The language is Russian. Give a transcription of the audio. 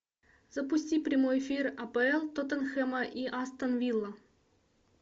запусти прямой эфир апл тоттенхэма и астон вилла